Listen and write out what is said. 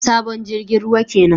Sabon jirgin ruwa kenan